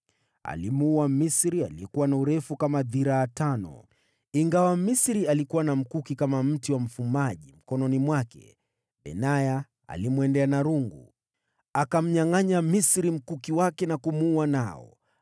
Alimuua Mmisri aliyekuwa na urefu kama dhiraa tano. Ingawa Mmisri alikuwa na mkuki kama mti wa mfumaji mkononi mwake, Benaya alimwendea na rungu. Akamnyangʼanya Mmisri mkuki wake na kumuua nao.